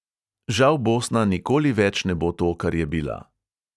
Žal bosna nikoli več ne bo to, kar je bila.